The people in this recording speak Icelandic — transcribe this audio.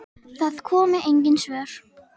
Ekki entist hún lengi þar.